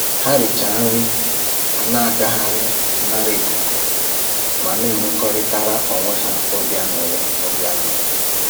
Ha richa nri, ha na-agagharị nara ikuku ma na-enwekọrịtara onwe ha obi aṅụrị obi aṅụrị